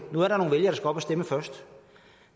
vælgere der skal op at stemme først